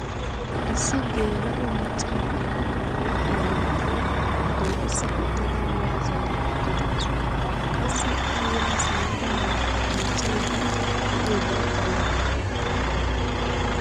Issi gela''o maca na'iya ba huuphiya loyttada dooqisa uttada ya zaara uttidaasu. qassi a yaa simmada miiccaydda de'iyoobay aybbe ?